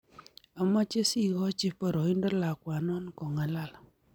Amache sikachi paraindo lakwanon kongalal